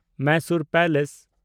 Mysore palace